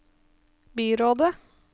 byrådet